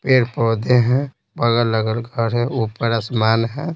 पेड़-पौधे हैं बगल-लगल घर है ऊपर आसमान है।